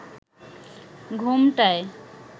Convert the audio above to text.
ঘোমটায়